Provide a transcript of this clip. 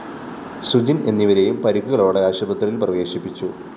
സുജിന്‍ എന്നിവരേയും പരിക്കുകളോടെ ആശുത്രിയില്‍ പ്രവേശിപ്പിച്ചു